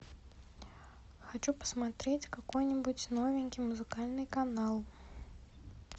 хочу посмотреть какой нибудь новенький музыкальный канал